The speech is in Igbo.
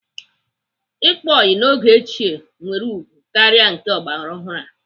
Ịkpa ọyị n'oge ochie nwere ugwu karịa nke ọgbaraọhụrụ a.